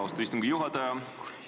Austatud istungi juhataja!